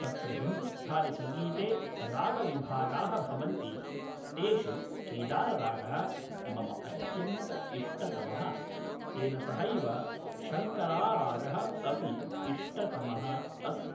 तत्र हिन्दुस्थानिसङ्गीते रागविभागाः भवन्ति तेषु केदाररागः मम अत्यन्त इष्टतमः तेन सहैव शङ्करारागः अपि इष्टतमः अस्ति